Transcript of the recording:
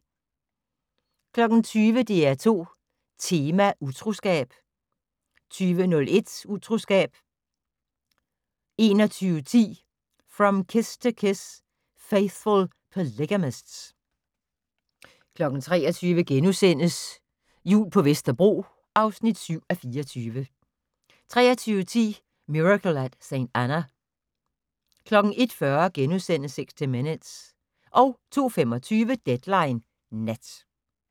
20:00: DR2 Tema: Utroskab 20:01: Utroskab 21:10: From Kiss To Kiss: Faithful Polygamists 23:00: Jul på Vesterbro (7:24)* 23:10: Miracle at St. Anna 01:40: 60 Minutes * 02:25: Deadline Nat